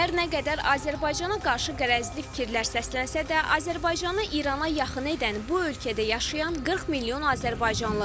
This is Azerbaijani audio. Hər nə qədər Azərbaycana qarşı qərəzli fikirlər səslənsə də, Azərbaycanı İrana yaxın edən bu ölkədə yaşayan 40 milyon azərbaycanlıdır.